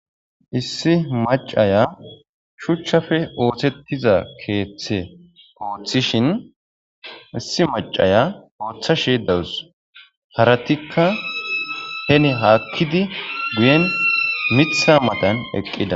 Issi maacaya shuchchappe oththetizza keththe oththishinne issi maacaya oththashe dawus.harattikka heni hakkid miththa matanni eqqida